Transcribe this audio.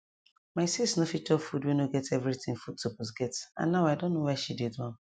my sis nor fit chop food wey nor get everything food suppose get and now i don know why she dey do am